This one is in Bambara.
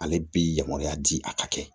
Ale bi yamaruya di a ka kɛ